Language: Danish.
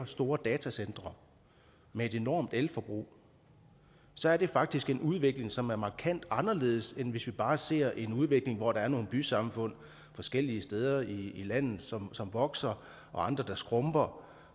store datacentre med et enormt elforbrug så er det faktisk en udvikling som er markant anderledes end hvis vi bare ser en udvikling hvor der er nogle bysamfund forskellige steder i landet som vokser og andre der skrumper